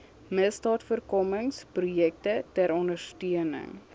misdaadvoorkomingsprojekte ter ondersteuning